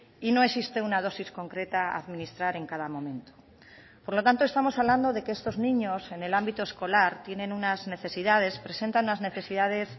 y no existe una dosis concreta a administrar en cada momento por lo tanto estamos hablando de que estos niños en el ámbito escolar tienen unas necesidades presentan unas necesidades